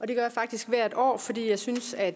det gør jeg faktisk hvert år fordi jeg synes at